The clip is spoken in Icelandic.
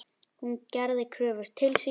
Hún gerði kröfur til sín.